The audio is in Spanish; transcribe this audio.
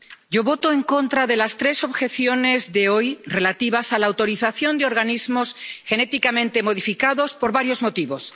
Yo voto en contra de las tres objeciones de hoy relativas a la autorización de organismos genéticamente modificados por varios motivos.